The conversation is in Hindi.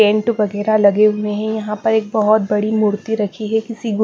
टेंट वगैरह लगे हुए हैं यहां पर एक बहोत बड़ी मूर्ति रखी है किसी।